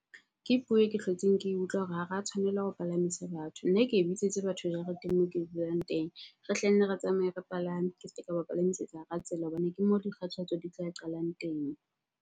Ke puo e ke hlotseng ke utlwa hore ha ra tshwanela ho palamisa batho. Nna ke e batho jareteng moo ke dulang teng. Re hlenne re tsamaye, re palame. Ke ske ka ba palamisetsa hara tsela hobane ke moo dikgathatso di tla qalang teng.